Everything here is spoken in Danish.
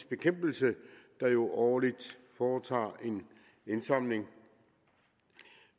bekæmpelse der jo årligt foretager en indsamling